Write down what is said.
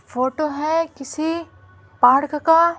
Photo है किसी park का।